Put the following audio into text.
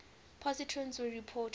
positrons were reported